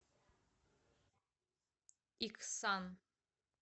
иксан